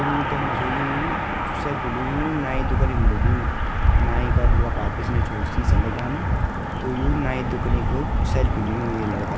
तुम यी दिखणा छो यु जू सेल्फी लियुं नाई दुकानी बटे लियूं नाई का जो लोग अफार पिछने छोर सीसा लग्यांन त यु नाई दुकनी क सेल्फी लियुं ये लड़का ल।